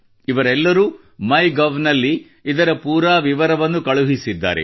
ಇವರೆಲ್ಲರೂ MyGovನಲ್ಲಿ ಇದರ ಪೂರಾ ವಿವರವನ್ನು ಕಳುಹಿಸಿದ್ದಾರೆ